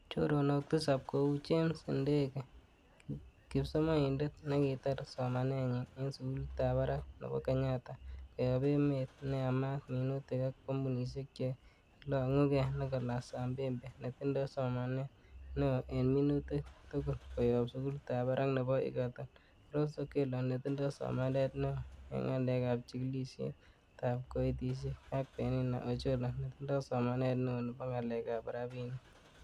Choronok Tisap ko kou; James Ndege, Kipsomonindet nekitar somanenyin en sugulitab barak nebo Kenyatta, koyob emet neyamat minutik ak kompunisiek che ilongugee, Nicholas Ambembe netindoi somanet neo en Minutik tugul koyob sugulitab barak nebo Egerton, Rose Okello netindoi somanet neo en ngalek ab chigilisiet ab koitosiek ak Penina Ochola, Netindo somanet neo nebo Ngalekab Rabinik.